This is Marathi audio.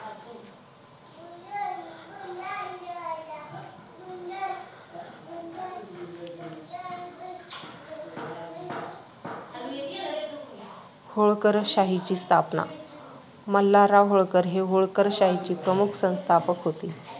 होळकरशाहीची स्थापना मल्हारराव होळकर हे होळकरशाहीचे प्रमुख संस्थापक होत.